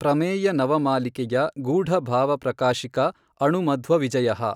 ಪ್ರಮೇಯನವಮಾಲಿಕೆಯ ಗೂಢಭಾವಪ್ರಕಾಶಿಕಾ ಅಣುಮಧ್ವವಿಜಯಃ